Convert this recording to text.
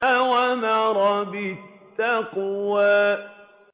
أَوْ أَمَرَ بِالتَّقْوَىٰ